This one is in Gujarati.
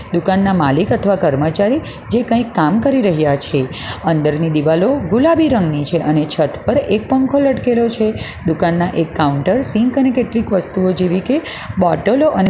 દુકાનના માલિક અથવા કર્મચારી જે કંઈ કામ કરી રહ્યા છે અંદરની દીવાલો ગુલાબી રંગની છે અને છત પર એક પંખો લટકેલો છે દુકાનના એક કાઉન્ટર સિંક અને કેટલીક વસ્તુઓ જેવી કે બોટલો અને --